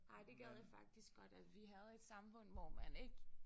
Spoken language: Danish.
Nej det gad jeg faktisk godt at vi havde et samfund hvor man ikke